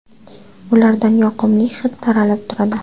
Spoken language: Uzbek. Ulardan yoqimli hid taralib turadi.